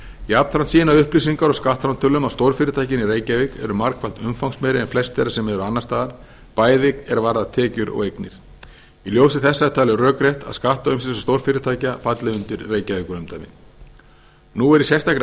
jafnframt sýna upplýsingar úr skattframtölum að stórfyrirtækin í reykjavík eru margfalt umfangsmeiri en flest þeirra sem eru annars staðar bæði er varðar tekjur og eignir í ljósi þessa er talið rökrétt að skattaumsýsla stórfyrirtækja falli undir reykjavíkurumdæmi nú er í sérstakri